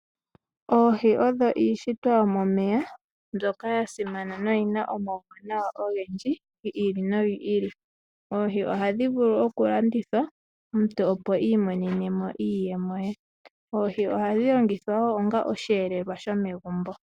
Oohi odho iishitwa yomomeya mbyoka ya simana noyina omauwanawa ogendji, gi ili nogi ili. Oohi ohadhi vulu oku landithwa omuntu opo i imonena iiyemo ye. Oohi ohadhi longithwa wo onga osheelelwa shomegumbo.